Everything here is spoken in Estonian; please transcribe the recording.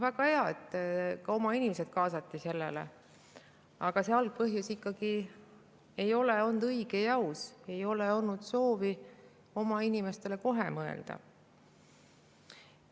Väga hea, et ka oma inimesed kaasati, aga see algpõhjus ikkagi ei ole olnud õige ja aus, ei ole olnud soovi oma inimestele kohe mõelda.